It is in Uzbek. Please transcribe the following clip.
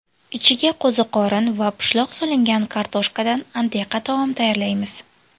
Ichiga qo‘ziqorin va pishloq solingan kartoshkadan antiqa taom tayyorlaymiz.